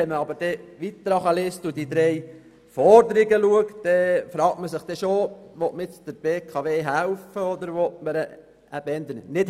Wenn man weiter unten im Text die drei Forderungen liest, fragt man sich jedoch, ob der BKW geholfen oder eher nicht geholfen werden soll.